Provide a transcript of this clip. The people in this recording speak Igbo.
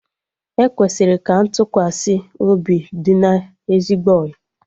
E kwesịrị ka ntụkwasị obi dị na ezigbo ọyị